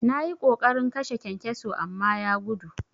Nayi ƙoƙarin kashe kyankyaso amma ya gudu.